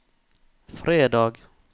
fredag